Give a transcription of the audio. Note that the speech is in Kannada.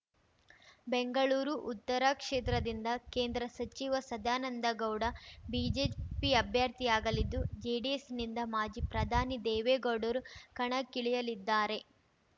ಬೆಂಗಳೂರು ಉತ್ತರ ಕ್ಷೇತ್ರದಿಂದ ಕೇಂದ್ರ ಸಚಿವ ಸದಾನಂದಗೌಡ ಬಿಜೆಪಿ ಅಭ್ಯರ್ಥಿಯಾಗಲಿದ್ದು ಜೆಡಿಎಸ್‌ನಿಂದ ಮಾಜಿ ಪ್ರಧಾನಿ ದೇವೇಗೌಡರು ಕಣಕ್ಕಿಳಿಯಲಿದ್ದಾರೆ